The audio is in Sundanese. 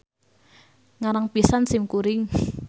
Ngarang pisan sim kuring.